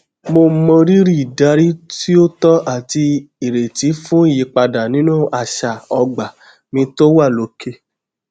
mo mọrírì ìdarí tí ó tọ àti ìrètí fún ìyípadà nínú àṣà ogba mi tó wà lókè